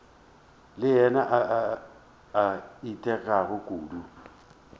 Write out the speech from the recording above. le yena a itekago kudu